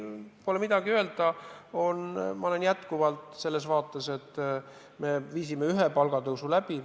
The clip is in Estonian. Pole midagi öelda, me viisime ühe palgatõusu läbi.